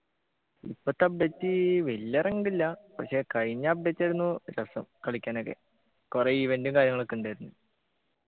ഇപ്പോത്തെ update വെല്ല അരങ്ങില്ല പക്ഷെ കഴിഞ്ഞ update ആരുന്നു രസം കളിക്കാനൊക്കെ കൊറേ event ഉം കാര്യങ്ങളൊക്കെ ഉണ്ടായിരുന്നു